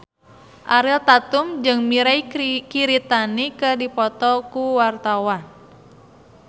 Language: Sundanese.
Ariel Tatum jeung Mirei Kiritani keur dipoto ku wartawan